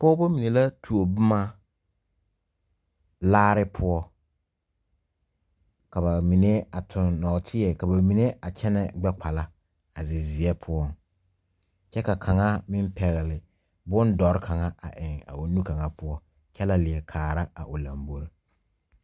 Pɔgba mene la tuo buma laare puo kaba mene a tung noɔtei kaba mene a kyene gbekpala a zi zie pou kye ka kanga meng pegli bundɔri kang a eng a ɔ nu kanga pou kye le lee kaara a ɔ lɔmbori.